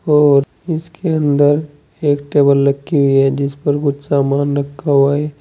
और इसके अंदर एक टेबल रखी हुई है जिस पर कुछ सामान रखा हुआ है।